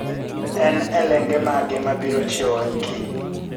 En elenge mage mabiro chiewa kiny